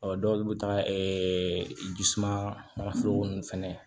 dɔw bɛ taa jisuma foro ninnu fɛnɛ